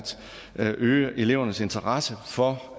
øge elevernes interesse for